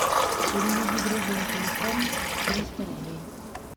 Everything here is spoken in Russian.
переведи другу на телефон триста рублей